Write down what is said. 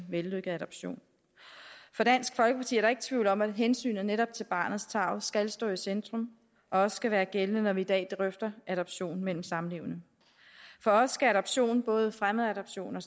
vellykket adoption for dansk folkeparti er der ikke tvivl om at hensynet netop til barnets tarv skal stå i centrum og også skal være gældende når vi i dag drøfter adoption mellem samlevende for os skal adoption både fremmedadoption